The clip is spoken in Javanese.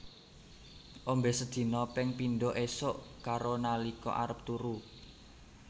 Ombe sedina ping pindho esuk karo nalika arep turu